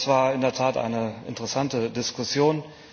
Das war in der Tat eine interessante Diskussion.